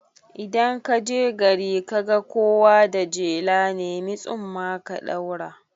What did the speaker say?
Idan kaje gari kaga kowa da jela, nemi tsumma ka ɗaura